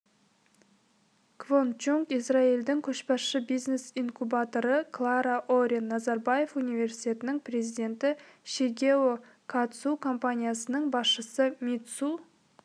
квон чунг израильдің көшбасшы бизнес-инкубаторы клара орен назарбаев университетінің президенті шигео катсу компаниясының басшысы митсу